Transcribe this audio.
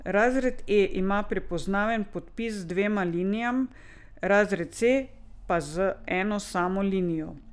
Razred E ima prepoznaven podpis z dvema linijama, razred C pa z eno samo linijo.